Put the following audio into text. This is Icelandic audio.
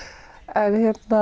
en